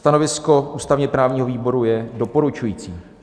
Stanovisko ústavně-právního výboru je doporučující.